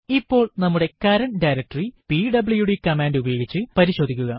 ഇപ്പോൾ നമ്മുടെ current directory PWD command ഉപയോഗിച്ച് പരിശോധിക്കുക